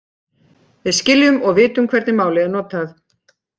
Við skiljum og vitum hvernig málið er notað.